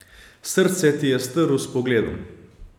Srce ti je strl s pogledom.